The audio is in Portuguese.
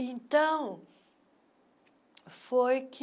Então, foi que...